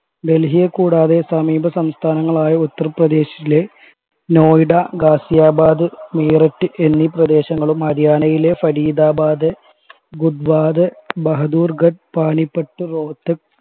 ഡൽഹിയെ കൂടാതെ സമീപ സംസഥാനങ്ങളായ ഉത്തർപ്രദേശിലെ നോയിഡ ഗാസിയാബാദ് മീററ്റ് എന്നീ പ്രദേശങ്ങളും ഹരിയാനയിലെ ഫരീദാബാദ് ഗുഡ്‌ഗാവ്‌ ബഹദൂർഗഢ് പാനിപ്പട്ട് രോഹ്ത്തക്ക്